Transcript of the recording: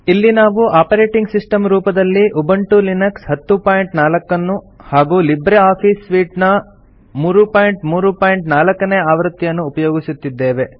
ಇಲ್ಲಿ ನಾವು operating system ರೂಪದಲ್ಲಿ ಉಬಂಟು ಲಿನಕ್ಸ್ 1004 ನ್ನು ಹಾಗೂ ಲಿಬ್ರೆ ಆಫೀಸ್ ಸೂಟ್ ನ 334 ನೇ ಆವೃತ್ತಿಯನ್ನು ಉಪಯೊಗಿಸುತ್ತಿದ್ದೇವೆ